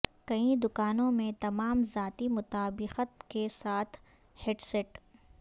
کئی دکانوں میں تمام ذاتی مطابقت کے ساتھ ہیڈسیٹ